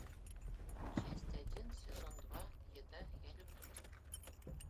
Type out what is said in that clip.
часть один сезон два еда я люблю тебя